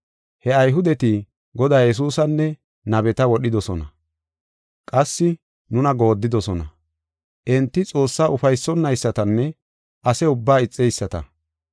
He Ayhudeti Godaa Yesuusanne nabeta wodhidosona; qassi nuna goodidosona. Enti Xoossaa ufaysonaysatanne ase ubbaa ixeyisata.